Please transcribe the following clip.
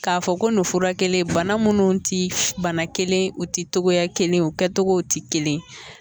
K'a fɔ ko nin furakelen bana mun ti bana kelen u ti togoya kelen u kɛtogow ti kelen